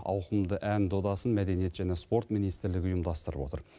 ауқымды ән додасын мәдениет және спорт министрлігі ұйымдастырып отыр